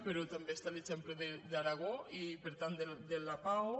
però també està l’exemple d’aragó i per tant del lapao